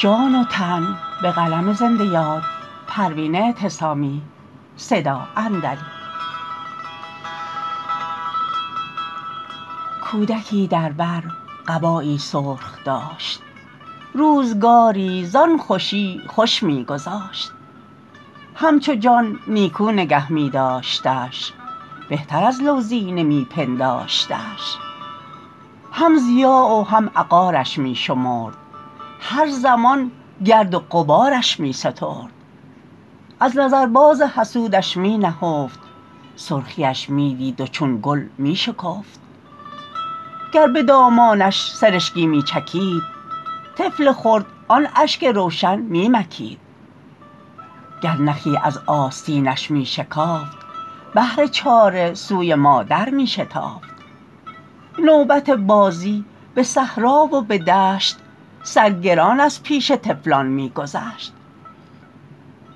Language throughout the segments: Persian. کودکی در بر قبایی سرخ داشت روزگاری زان خوشی خوش میگذاشت همچو جان نیکو نگه میداشتش بهتر از لوزینه می پنداشتش هم ضیاع و هم عقارش می شمرد هر زمان گرد و غبارش می سترد از نظر باز حسودش می نهفت سرخی اش میدید و چون گل میشکفت گر بدامانش سرشکی میچکید طفل خرد آن اشک روشن میمکید گر نخی از آستینش میشکافت بهر چاره سوی مادر میشتافت نوبت بازی بصحرا و بدشت سرگران از پیش طفلان میگذشت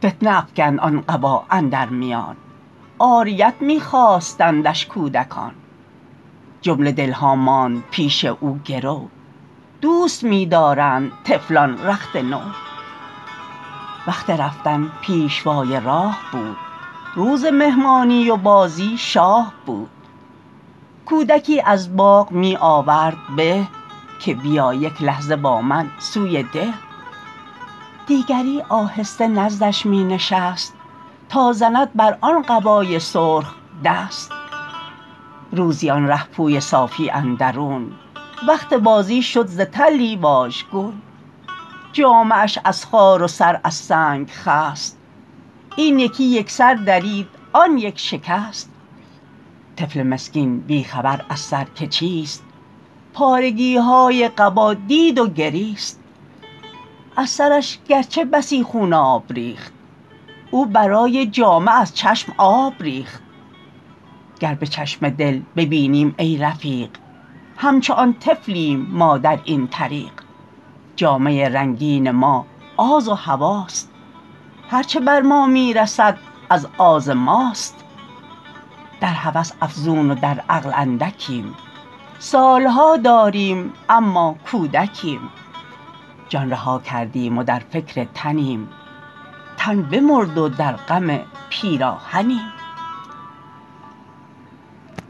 فتنه افکند آن قبا اندر میان عاریت میخواستندش کودکان جمله دلها ماند پیش او گرو دوست میدارند طفلان رخت نو وقت رفتن پیشوای راه بود روز مهمانی و بازی شاه بود کودکی از باغ می آورد به که بیا یک لحظه با من سوی ده دیگری آهسته نزدش می نشست تا زند بر آن قبای سرخ دست روزی آن رهپوی صافی اندرون وقت بازی شد ز تلی واژگون جامه اش از خار و سر از سنگ خست این یکی یکسر درید آن یک شکست طفل مسکین بی خبر از سر که چیست پارگیهای قبا دید و گریست از سرش گرچه بسی خوناب ریخت او برای جامه از چشم آب ریخت گر بچشم دل ببینیم ای رفیق همچو آن طفلیم ما در این طریق جامه رنگین ما آز و هوی است هر چه بر ما میرسد از آز ماست در هوس افزون و در عقل اندکیم سالها داریم اما کودکیم جان رها کردیم و در فکر تنیم تن بمرد و در غم پیراهنیم